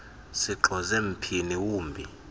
sixoze mphini wumbi